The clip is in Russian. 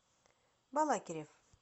балакирев